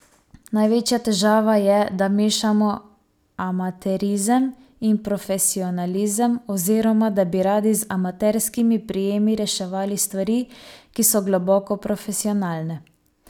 Največja težava je, da mešamo amaterizem in profesionalizem oziroma da bi radi z amaterskimi prijemi reševali stvari, ki so globoko profesionalne.